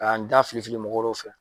K'an da fili fili mɔgɔ dɔw fɛ.